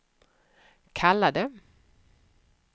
kallade